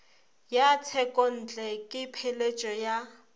ya tshekontle le pheletšo ya